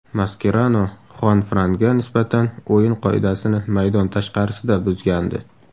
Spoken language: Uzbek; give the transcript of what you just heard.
Maskerano Xuanfranga nisbatan o‘yin qoidasini maydon tashqarisida buzgandi.